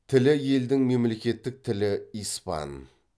тілі елдің мемлекеттік тілі испан